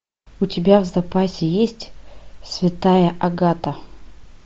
у тебя в запасе есть святая агата